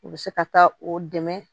U bɛ se ka taa o dɛmɛ